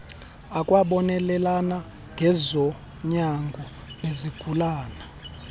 akwabonelela ngezonyango nezigulane